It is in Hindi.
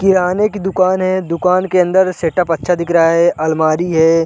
किराने की दुकान है दुकान के अंदर सेटप अच्छा दिख रहा है अलमारी है।